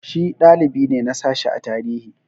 Shi dalibi ne na sashi na tarihi.